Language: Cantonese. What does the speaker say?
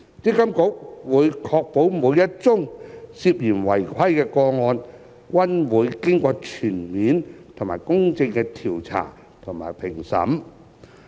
積金局會確保每宗涉嫌違規的個案均會經過全面及公正的調查和評審。